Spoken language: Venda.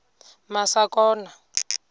masakona